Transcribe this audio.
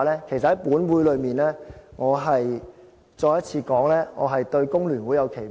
其實在本會裏面，我重申我對香港工會聯合會有期望。